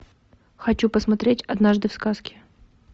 хочу посмотреть однажды в сказке